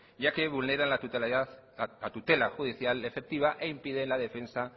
ya que vulneran la tutela judicial efectiva e impide la defensa